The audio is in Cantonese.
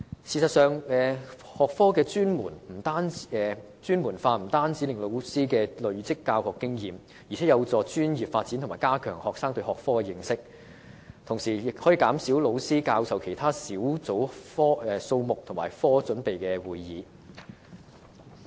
事實上，學科專門化不但可令老師累積教學經驗，還有助老師的專業發展及加強學生對學科的認識，更可減少老師參與的其他小組數目及科組備課會議。